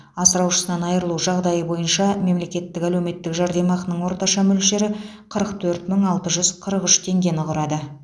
асыраушысынан айрылу жағдайы бойынша мемлекеттік әлеуметтік жәрдемақының орташа мөлшері қырық төрт мың алты жүз қырық үш теңгені құрады